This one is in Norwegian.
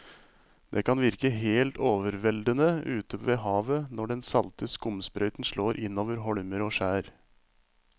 Det kan virke helt overveldende ute ved havet når den salte skumsprøyten slår innover holmer og skjær.